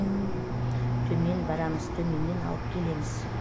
төмен барамыз төменнен алып келеміз